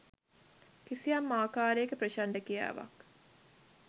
කිසියම් ආකාරයක ප්‍රචණ්ඩ ක්‍රියාවන්